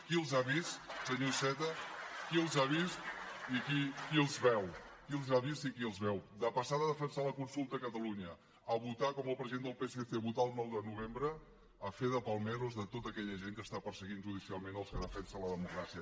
qui els ha vist senyor iceta qui els ha vist i qui els veu qui els ha vist i qui els veu de passar de defensar la consulta a catalunya a votar com el president del psc el nou de novembre a fer de palmeros de tota aquella gent que està perseguint judicialment els que defensen la democràcia